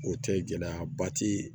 O tɛ gɛlɛya ba ti